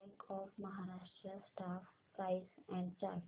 bank of Maharashtra stock price and chart